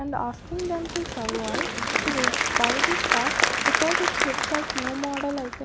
and asking them to survive to buy this stock because it's look like new model i think --